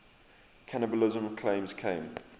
cannibalism claims came